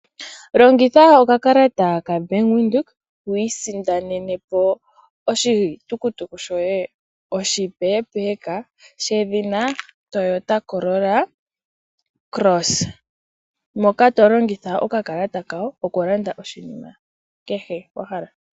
Longitha okakalata kaBank Windhoek wu isindanene po oshitukutuku shoye oshipee peka shedhina Toyota Corolla Cross. Moka to longitha okakalata kawo okulanda kehe shimwe shoka wa hala.